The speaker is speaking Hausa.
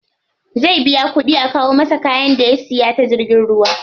Zai biya kuɗi a kawo masa kayan da ya siya ta jirgin ruwa.